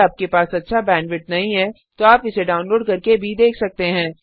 यदि आपके पास अच्छा बैंडविड्थ नहीं है तो आप इसे डाउनलोड करके देख सकते हैं